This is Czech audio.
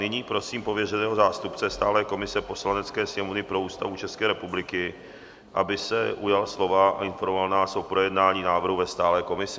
Nyní prosím pověřeného zástupce stálé komise Poslanecké sněmovny pro Ústavu České republiky, aby se ujal slova a informoval nás o projednání návrhu ve stálé komisi.